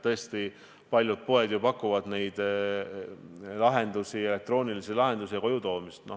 Tõesti, paljud poed pakuvad elektroonilisi lahendusi ja koju toomist.